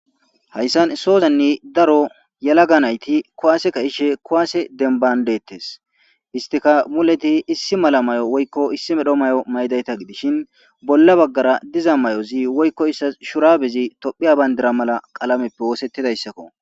hayssan sozanne daro yalaga nayti kuwaase ka ishe kowaase denbandettes istika muleti issi mala mayo woykko issi medho mayo maydayta gidishin bolla baggara diza may7ozi woykko issas shurabezi tophiya bayndira mala qalameppe woosettidayssakko